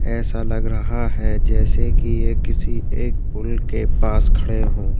ऐसा लग रहा है जैसे की ये किसी एक पुल के पास खड़े हों।